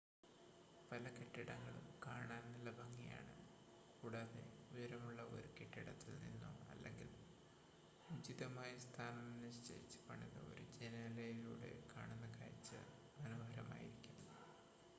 പല കെട്ടിടങ്ങളും കാണാൻ നല്ല ഭംഗിയാണ് കൂടാതെ ഉയരമുള്ള ഒരു കെട്ടിടത്തിൽ നിന്നോ അല്ലെങ്കിൽ ഉചിതമായി സ്ഥാനം നിശ്ചയിച്ച് പണിത ഒരു ജനലിലൂടെയോ കാണുന്ന കാഴ്ച്ച മനോഹരമായിരിക്കും